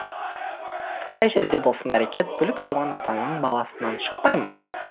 қай жерде болсын әрекет бүлік жуан атаның баласынан шықпай ма